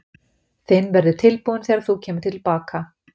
Þinn verður tilbúinn þegar þú kemur til baka.